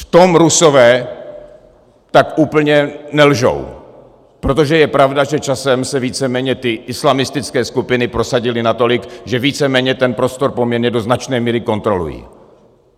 V tom Rusové tak úplně nelžou, protože je pravda, že časem se víceméně ty islamistické skupiny prosadily natolik, že víceméně ten prostor poměrně do značné míry kontrolují.